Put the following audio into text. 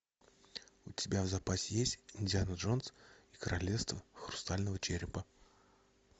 у тебя в запасе есть индиана джонс и королевство хрустального черепа